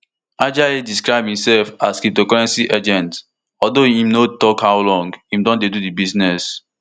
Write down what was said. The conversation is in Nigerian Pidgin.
ajayi describe imsef as cryptocurrency agent although im no tok how long im don dey do di business